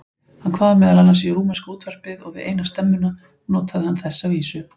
Hann kvað meðal annars í rúmenska útvarpið og við eina stemmuna notaði hann þessa vísu